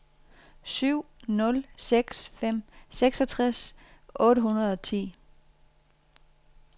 syv nul seks fem seksogtres otte hundrede og ti